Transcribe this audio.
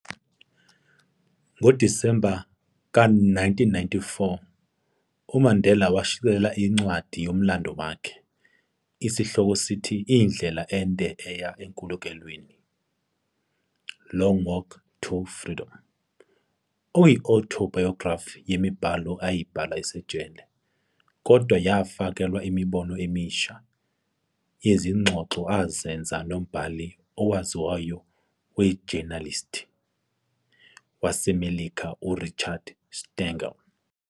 NgoDisemba ka 1994, uMandela washicilela incwadi yomlando wakhe, esihloko sithi, indlela ende eya enkululekweni, "Long Walk to Freedom", okuyi-autobiography yemibhalo ayibhala esesejele, kodwa yafakelwa imibono emisha yezingxoxo azenza nombhali owaziwayo wejenalisti yaseMelika u-Richard Stengel.